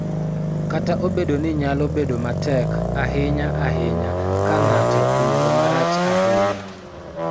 Kata obedo ni nyalo bedo matek, ahinya ahinya ka ng�ato owinjo marach ahinya,